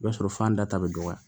I b'a sɔrɔ fan da ta bɛ dɔgɔya